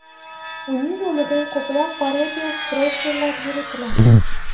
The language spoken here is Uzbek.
Uning nomidan ko‘plab parodiya profillar yuritiladi.